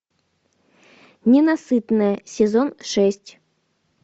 ненасытная сезон шесть